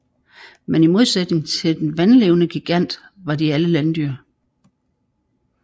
Men i modsætning til den vandlevende gigant var de alle landdyr